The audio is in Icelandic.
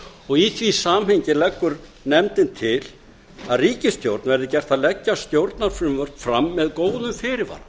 og í því samhengi leggur nefndin til að ríkisstjórn verði gert að leggja stjórnarfrumvörp fram með